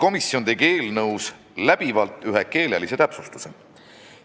Komisjon tegi eelnõus läbivalt ühe keelelise täpsustuse.